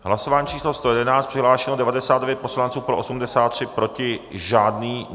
Hlasování číslo 111, přihlášeno 99 poslanců, pro 83, proti žádný.